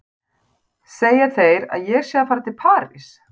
Segja þeir að ég sé að fara til París?